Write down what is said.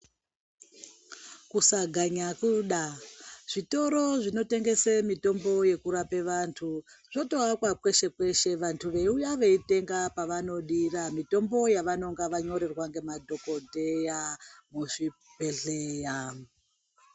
Kusaganya kuda zvitoro zvinotengesa mitombo yekurapa vantu zvotovakwa kweshe kweshe vantu veiuya veitenga pavanodira mitombo yavanonga vanyorerwa nemadhokodheya muzvibhedhleya.